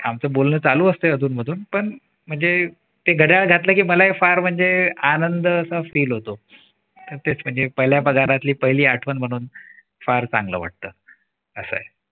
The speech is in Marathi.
आमचं बोलणं चालू असत अधून मधून पण म्हणजे ते घड्याळ घातलं की मला पण फार म्हणजे आनंद असा feel होतो तेच म्हणजे पहिल्या पगारातली पहिली आठवण म्हणून फार चांगलं वाटतं. असं